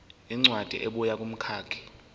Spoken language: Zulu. incwadi ebuya kumkhakha